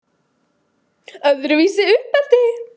Öðruvísi uppeldi